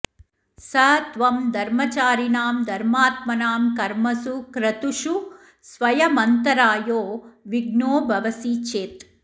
स त्वं धर्मचारिणां धर्मात्मनां कर्मसु क्रतुषु स्वयमन्तरायो विघ्नो भवसि चेत्